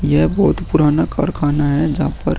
यह बहुत पुराना कारखाना है जहाँ पर --